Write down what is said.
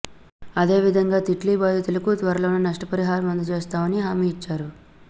అదే విధంగా తిట్లీ బాధితులకు త్వరలోనే నష్ట పరిహారం అందజేస్తామని హామీ ఇచ్చారు